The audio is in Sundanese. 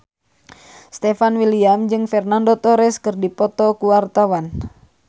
Stefan William jeung Fernando Torres keur dipoto ku wartawan